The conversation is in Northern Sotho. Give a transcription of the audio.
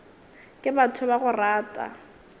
ke batho ba go rata